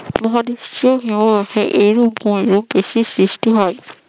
মহাবিশ্ব ন অফে এই রূপ ওই দেশের সৃষ্টি হয়